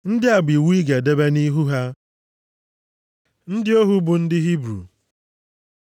“Ndị a bụ iwu ị ga-edebe nʼihu ha. Ndị ohu bụ ndị Hibru